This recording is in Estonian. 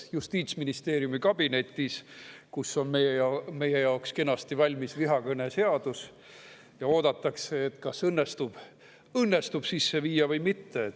Justiitsministeeriumi kabinetis meie jaoks kenasti valmis vihakõne seadus ja oodatakse, kas see õnnestub sisse viia või mitte.